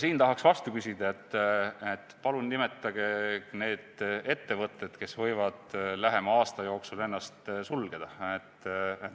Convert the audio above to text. Siin tahaks vastu küsida, et palun nimetage need ettevõtted, kes võivad lähema aasta jooksul ennast sulgeda.